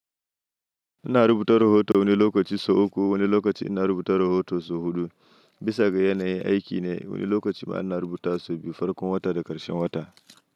Ina rubuta rahoto wani lokaci sau uku, wani lokaci ina rubuta rahoto sau huɗu. Bisa ga yanayin aiki ne, wani lokaci ma ina rubutawa sau biyu, farkon wata da ƙarshen wata.